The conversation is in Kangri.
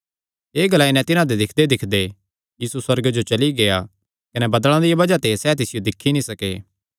एह़ ग्लाई नैं तिन्हां दे दिक्खदेदिक्खदे यीशु सुअर्गे जो चली गेआ कने बदल़ां दिया बज़ाह ते सैह़ तिसियो दिक्खी नीं सके